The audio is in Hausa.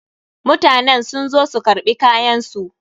Mutanen sun zo su karɓi kayan su.